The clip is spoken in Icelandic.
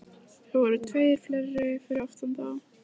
Þeir eru tveir og fleiri fyrir aftan þá.